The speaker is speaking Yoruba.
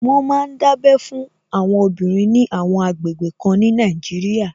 Wọ́n ma ń dábẹ́ fún àwọn obìnrin ní àwọn àgbègbè kan ní Nàìjíríà